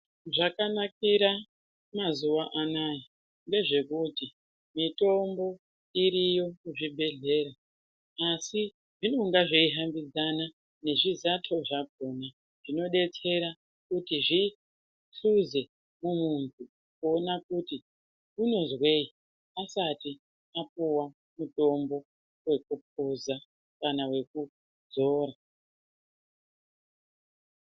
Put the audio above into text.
Zvakanakira mazuwa anaya ngezvekuti mitombo iriyo kuzvibhedhlera asi zvinonga zveyi hambidzana nezvizato zvakona, zvinodetsera kuti zvihluze muntu, kuona kuti unozweyi asati apuwa mutombo wekupuza kana wekuzora.